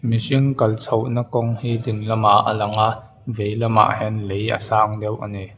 mihring kal chhoh na kawng hi ding lamah a lang a vei lamah hian lei a sang deuh ani.